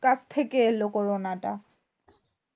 কাছ থেকে এলো corona টা।